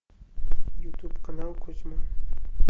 ютуб канал кузьма